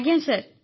ଆଜ୍ଞା ସାର୍